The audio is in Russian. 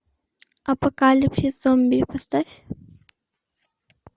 апокалипсис зомби поставь